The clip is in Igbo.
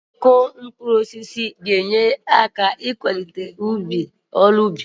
Mono kropịn ga-akwalite arụmọrụ n'ịkụ ihe.